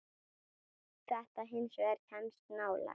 Þetta hins vegar kemst nálægt.